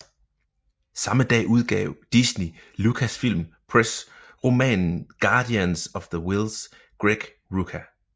Samme dag udgav Disney Lucasfilm Press romanen Guardians of the Whills Greg Rucka